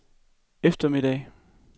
eftermiddag